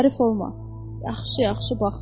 Hərif olma, yaxşı-yaxşı bax.